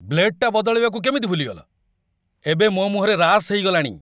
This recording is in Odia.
ବ୍ଲେଡ଼୍ଟା ବଦଳେଇବାକୁ କେମିତି ଭୁଲିଗଲ? ଏବେ ମୋ' ମୁହଁରେ ରାସ୍ ହେଇଗଲାଣି!